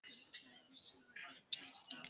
Richard er kominn til baka með okkur.